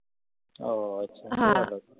ও আচ্ছা